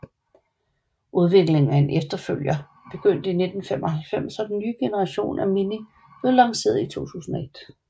Udviklingen af en efterfølger begyndte i 1995 og den nye generation af Mini blev lanceret i 2001